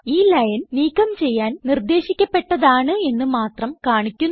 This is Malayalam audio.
ഈ ലൈൻ നീക്കം ചെയ്യാൻ നിർദ്ദേശിക്കപ്പെട്ടതാണ് എന്ന് മാത്രം കാണിക്കുന്നു